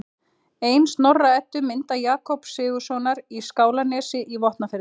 Ein Snorra-Eddu mynda Jakobs Sigurðssonar í Skálanesi í Vopnafirði